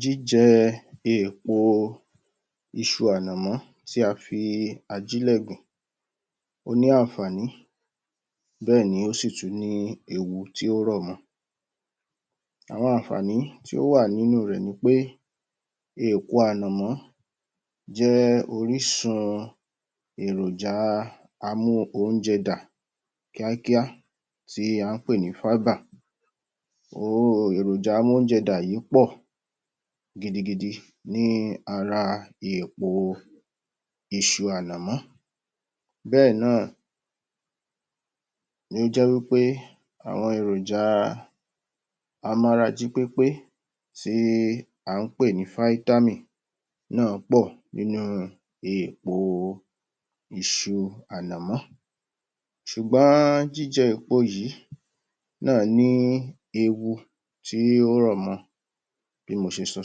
Jíjẹ eèpo iṣu ànàmọ́ tí a fi àjílẹ̀ gbìn, ó ní àǹfààní, bẹ́ẹ̀ ni ó sì tún ní ewu tí ó rọ̀ mọ́. Àwọn àǹfààní tí ó wà nínú rẹ̀ ni pé eèpo ànàmọ́ jẹ́ orísun èròjà a-mú-oúnjẹ-dà kíákíá, tí a ń pè ní fáíbà. Òhóró èròjà amóúnjẹ-dà yìí pọ̀ gidigidi ní ara eèpo iṣu ànàmọ́. Bẹ́ẹ̀ náà ni ó jẹ́ wí pé àwọn èròjà a-mára-jí-pépé tí a ń pè ní fáítámíìnì náà pọ̀ nínú eèpo iṣu ànàmọ́. Ṣùgbọ́n jíjẹ eèpo yìí náà ní ewu tí ó rọ̀ mọ́ bí mo ṣe sọ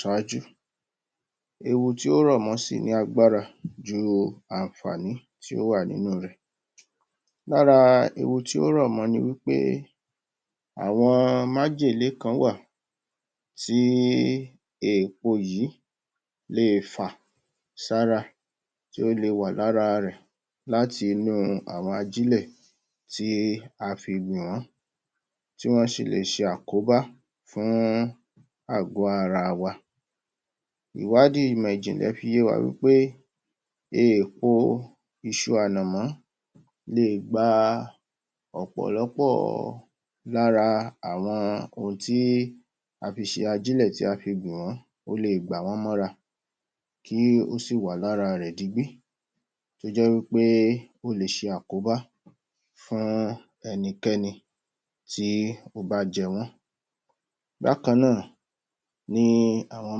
ṣáájú. Ewu tí ó rọ̀ mọ sì ní agbára ju àǹfààní tí ó wà nínú rẹ̀. Lára ewu tí ó rọ̀ mọ́ ọ ni wí pé, àwọn májèlé kan wà tí eèpo yìí lè fà sára. Tí ó le wà lára rẹ̀ láti inú àwọn ajílẹ̀ tí a fi gbọ̀n ọ́n, tí wọ́n sì lè ṣe àkóbá fún àgọ̀ ara wa. Ìwádìí ìmọ̀ ìjìnlẹ̀ fi yé wa wí pé eèpo iṣu ànàmọ́ le è gba ọ̀pọ̀lọ́pọ̀ lára àwọn ohun tí a fi ṣe ajílẹ̀ tí a fi gbọ̀n ọ́n, ó le è gbà wọ́n mọ́ra kí ó sì wà lára rẹ̀ digbí, tó jẹ́ wí pé ó le ṣe àkóbá fún ẹnikẹ́ni tí ó bá jẹ wọ́n. Bákan náà ni àwọn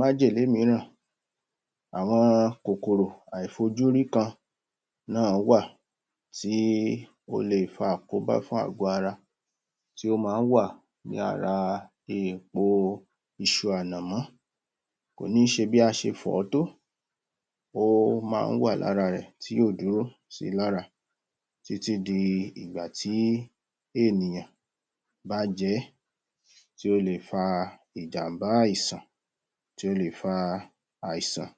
májèlé mìíràn; àwọn kòkòrò àìfojúrí kan náà wà tí ó le è fa àkóbá fún àgọ̀ ara, tí ó máa ń wà ní ara eèpo iṣu ànàmọ́. bí a ṣe fọ̀ ọ́ tó óó máa ń wà ní ara rẹ̀ tí ò dúró sí i lára, títí di ìgbà tí ènìyàn bá jẹ ẹ́, tí ó le è fa ìjàm̀bá àìsàn, tí ó le è fa àìsàn.